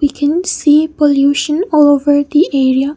we can see pollution all over the area.